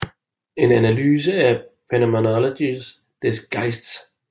En analyse af Phänomenologie des Geistes